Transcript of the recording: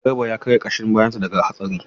Garba ya karya ƙashin bayansa daga hatsarin.